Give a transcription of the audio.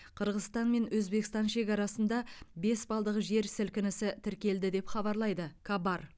қырғызстан мен өзбекстан шекарасында бес балдық жер сілкінісі тіркелді деп хабарлайды кабар